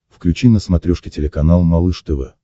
включи на смотрешке телеканал малыш тв